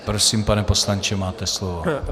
Prosím, pane poslanče, máte slovo.